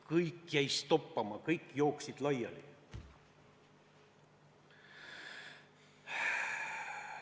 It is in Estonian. Kõik jäid toppama, kõik jooksid laiali.